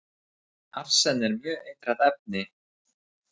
Arsen er mjög eitrað efni.